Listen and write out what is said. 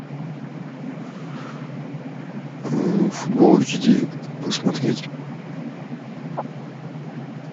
футбол эйч ди посмотреть